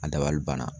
A dabali banna